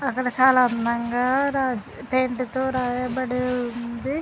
అక్కడ చాలా అందంగా రాజ్ పెయింట్ తో రాయబడి ఉంది.